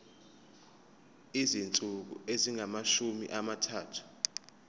izinsuku ezingamashumi amathathu